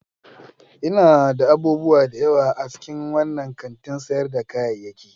Ina da abubuwa da yawa a cikin wannan kantin sayar da kayayyaki.